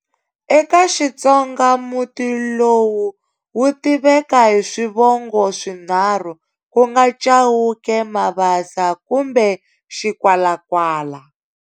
eka Xitsonga muti lowu wu tiveka hi swivongo swinharhu, kunga Chauke, Mabasa kumbe Xikwalakwala.